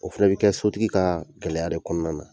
O fɛnɛ be kɛ sotigi kaa gɛlɛya de kɔɔna na.